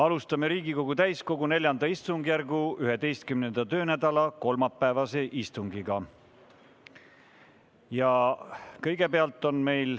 Alustame Riigikogu täiskogu IV istungjärgu 11. töönädala kolmapäevast istungit.